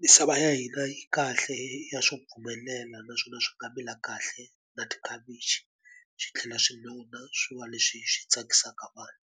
misava ya hina yi kahle ya swi pfumelela naswona swi nga mila kahle na tikhavichi swi tlhela swi nona swi va leswi swi tsakisaka vanhu.